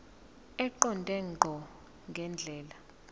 eqonde ngqo ngendlela